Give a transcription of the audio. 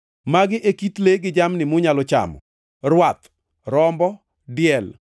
Magi e kit le gi jamni munyalo chamo: rwath, rombo, diel,